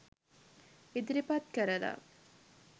ඉදිරිපත් කරලා